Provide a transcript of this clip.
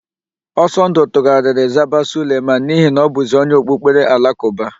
Ọsọndụ tugharịrị zaba Suleman n'ihi na ọ bụzi onye okpukpere Alakụba.